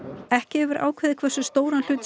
ekki hefur verið ákveðið hversu stóran hlut